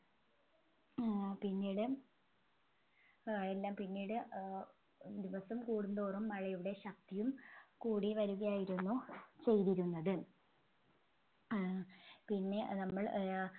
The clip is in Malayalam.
ഏർ പിന്നീട് ഏർ എല്ലാം പിന്നീട് ഏർ ദിവസം കൂടുന്തോറും മഴയുടെ ശക്തിയും കൂടി വരികയായിരുന്നു ചെയ്തിരുന്നത് ഏർ പിന്നെ നമ്മൾ ഏർ